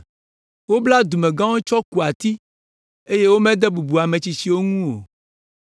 Wobla dumegãwo tsɔ ku ati eye womede bubu ame tsitsiwo ŋu o.